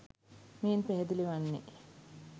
මෙයින් පැහැදිලි වන්නේ